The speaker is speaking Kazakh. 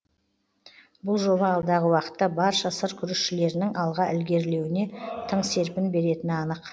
бұл жоба алдағы уақытта барша сыр күрішшілерінің алға ілгерілеуіне тың серпін беретіні анық